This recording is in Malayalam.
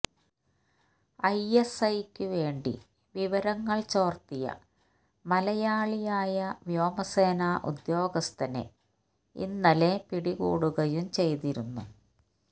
ഐഎസ്ഐയ്ക്കു വേണ്ടി വിവരങ്ങൾ ചോർത്തിയ മലയാളിയായ വ്യോമസേന ഉദ്യോഗസ്ഥനെ ഇന്നലെ പിടികൂടുകയും ചെയ്തിരുന്നു